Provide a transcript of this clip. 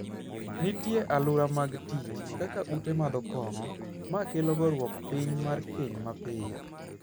Nitie alura mag tich, kaka ute madho kong'o, ma kelo goruok piny mar keny mapiyo.